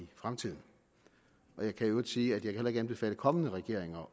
fremtiden jeg kan i øvrigt sige at jeg heller ikke kan anbefale kommende regeringer